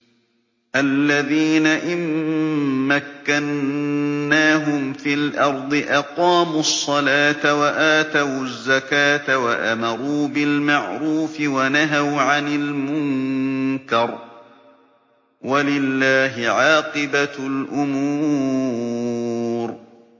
الَّذِينَ إِن مَّكَّنَّاهُمْ فِي الْأَرْضِ أَقَامُوا الصَّلَاةَ وَآتَوُا الزَّكَاةَ وَأَمَرُوا بِالْمَعْرُوفِ وَنَهَوْا عَنِ الْمُنكَرِ ۗ وَلِلَّهِ عَاقِبَةُ الْأُمُورِ